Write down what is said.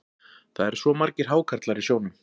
Það eru svo margir hákarlar í sjónum.